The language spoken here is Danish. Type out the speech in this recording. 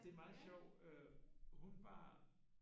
Det er meget sjovt hun var